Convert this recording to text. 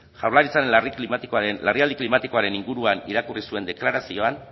jaurlaritzan larrialdi klimatikoaren inguruan irakurri zuen deklarazioan